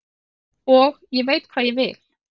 Og ég veit hvað ég vil.